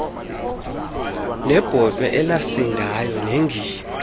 sebhotwe elasindayo nengingqi